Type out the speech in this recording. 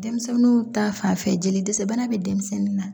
Denmisɛnninw ta fanfɛ jeli dɛsɛ bana bɛ denmisɛnnin na